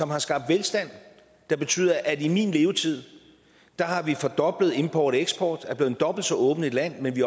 har skabt velstand der betyder at vi i min levetid har fordoblet import og eksport og er blevet dobbelt så åbent et land men vi